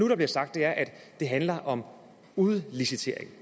nu bliver sagt at det handler om udliciteringer